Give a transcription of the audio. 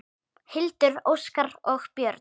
Hildur, Óskar og börn.